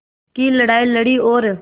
की लड़ाई लड़ी और